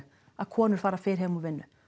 að konur fara fyrr heim úr vinnu